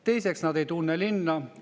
Teiseks, nad ei tunne linna.